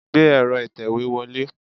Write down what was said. Gbé ero itewe wọlé.